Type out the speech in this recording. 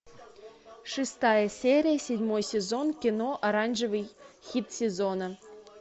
шестая серия седьмой сезон кино оранжевый хит сезона